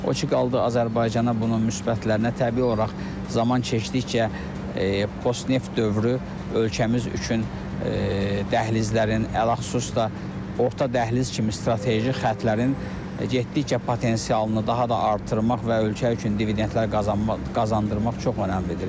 O ki qaldı Azərbaycana bunun müsbətlərinə təbii olaraq zaman keçdikcə postneft dövrü ölkəmiz üçün dəhlizlərin ələxsusda orta dəhliz kimi strateji xəttlərin getdikcə potensialını daha da artırmaq və ölkə üçün dividentlər qazandırmaq çox önəmlidir.